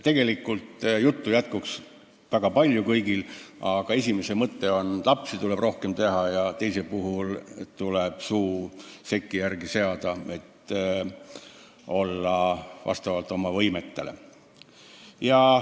Tegelikult jätkuks juttu väga palju kõigil, aga esimese komisjoni mõte on, et lapsi tuleb rohkem teha, ja teise puhul on see mõte, et suu tuleb seki järgi seada, elada vastavalt oma võimetele.